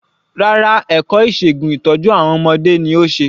Rárá ẹ̀kọ́ ìṣègun ìtọ́jú àwọn ọmọdé ni ó ṣe.